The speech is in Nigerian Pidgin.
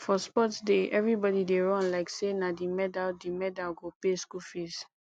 for sports day everybody dey run like say na the medal the medal go pay school fees